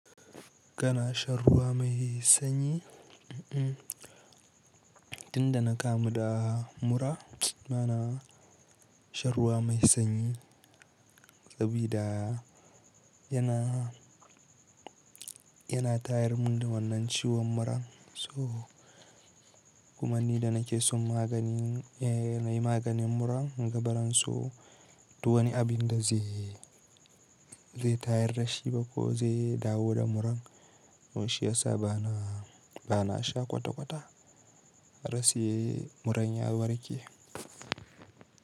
Kana shan ruwa mai sanyi? Tun da na kamu da mura, bana shan ruwa mai sanyi sabida yana, yana tayar mun da wannan ciwon muran. So kuma ni da na ke son magani, nayi maganin muran kunga bazan so duk wani abinda zai, zai tayar rashin ba ko zai dawo da muran. To shiyasa bana, bana sha kwata-kwata rasiye muran ya warke.